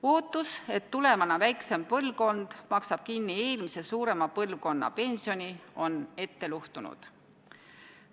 Ootus, et tulevane väiksem põlvkond maksab kinni eelmise suurema põlvkonna pensioni, on ette luhtunud.